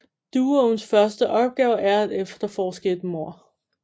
Duoens første opgave er at efterforske et mord